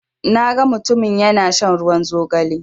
Na ga mutumin ya na shan ruwan zogale